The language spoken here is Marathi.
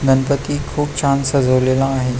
गणपती खुप छान सजवलेला आहे.